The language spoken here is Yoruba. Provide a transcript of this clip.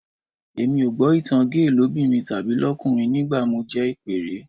Èmi ò gbọ́ ìtan géè lóbìnrin tàbí lọ́kùnrin nígbà mo jẹ ìpẹ́ẹ́rẹ́